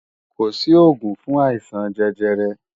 Kò sí òògùn fún àìsàn jẹjẹrẹ